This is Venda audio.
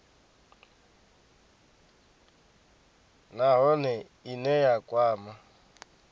nha nahone ine ya kwama